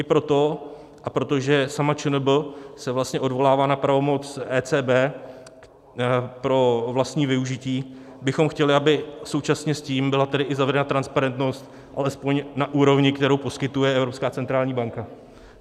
I proto, a protože sama ČNB se vlastně odvolává na pravomoc ECB pro vlastní využití, bychom chtěli, aby současně s tím byla tedy i zavedena transparentnost alespoň na úrovni, kterou poskytuje Evropská centrální banka.